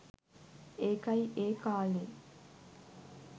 ඒකයි ඒ කාලේ